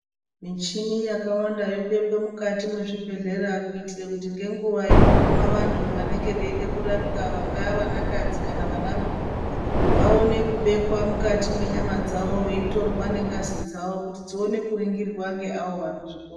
Michini yakawanda yobekwe mukatu mwezvibhedhleya kuitira kuti ngenguwa inoguma vantu vanenge veida kurapwa vantu vangaa vanakadzi kana vanarume vaone kubekwa mukati mwenyama dzawo veitorwa nengazi dzawo kuti dzione kuringirwa ngeawo vanozvikona.